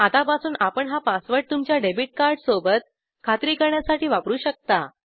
आतापासून आपण हा पासवर्ड तुमच्या डेबिट कार्ड सोबत खात्री करण्यासाठी वापरू शकता